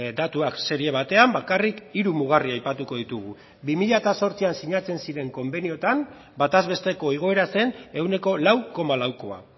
datuak serie batean bakarrik hiru mugarri aipatuko ditugu bi mila zortzian sinatzen ziren konbenioetan bataz besteko igoera zen ehuneko lau koma laukoa